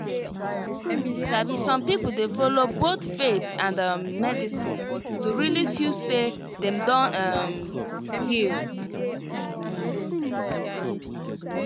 you sabi some people dey follow both faith and um medicine to really feel say dem don um heal. um